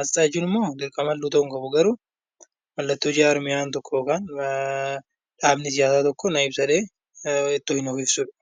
Asxaa jechuun immoo dirqamallee ta'uu hin qabu garuu mallattoon jarmiyaan tokko dhaabni siyaasaa tokko na ibsa jedhee fayyadamudha.